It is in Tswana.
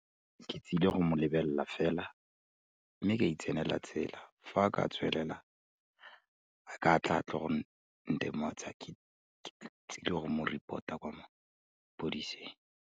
Ke tsile go mo lebelela fela, mme ka itsenela tsela. Fa a ka tswelela, a ka tla a tlo go ntemosa, ke tsile go mo report-a kwa mapodiseng.